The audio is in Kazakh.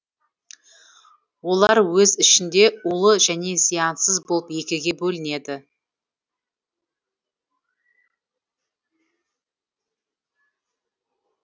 олар өз ішінде улы және зиянсыз болып екіге бөлінеді